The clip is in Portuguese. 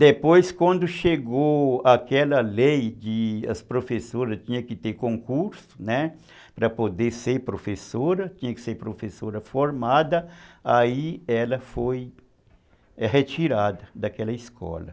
Depois, quando chegou aquela lei de que as professoras tinham que ter concurso, né, para poder ser professora, tinha que ser professora formada, aí ela foi retirada daquela escola.